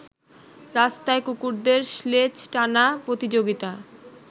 রাস্তায় কুকুরদের স্লেজ টানা প্রতিযোগিতা